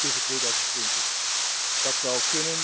tegen 2020. Dat zou